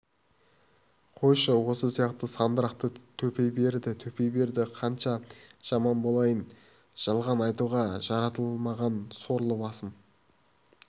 қойшы осы сияқты сандырақты төпей берді төпей берді қанша жаман болайын жалған айтуға жаратылмаған сорлы басым